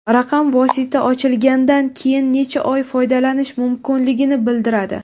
Raqam vosita ochilgandan keyin necha oy foydalanish mumkinligini bildiradi.